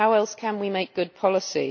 How else can we make good policy?